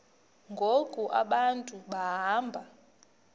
ngoku abantu behamba